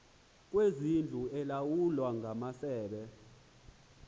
kwezindlu elawulwa ngamasebe